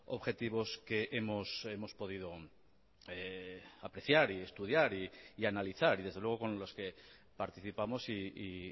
objetivos que hemos podido apreciar y estudiar y analizar y desde luego con los que participamos y